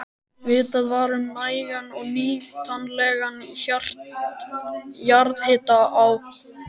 Vitað var um nægan og nýtanlegan jarðhita á